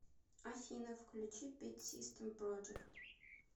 афина включи битсистэм проджект